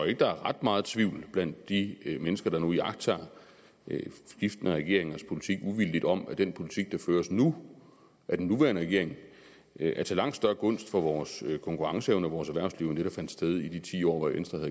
ikke der er ret meget tvivl blandt de mennesker der nu iagttager skiftende regeringers politik uvildigt om at den politik der føres nu af den nuværende regering er til langt større gunst for vores konkurrenceevne og vores erhvervsliv end det der fandt sted i de ti år hvor